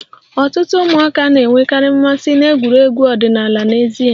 Ọtụtụ ụmụaka na-enwekarị mmasị na egwuregwu ọdịnala n'èzí